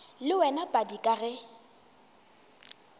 le wena padi ka ge